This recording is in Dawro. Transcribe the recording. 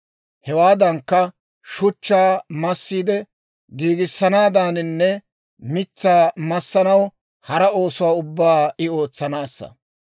Hewaadankka, shuchchaa massiide giigissanaaddaaninne, mitsaa massanaw hara oosuwaa ubbaa I ootsanaassa.